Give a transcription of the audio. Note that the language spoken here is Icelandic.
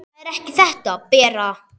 Það er ekki þetta, Bera!